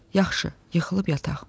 Yaxşı, yıxılıb yataq.